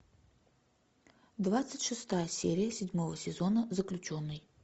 двадцать шестая серия седьмого сезона заключенный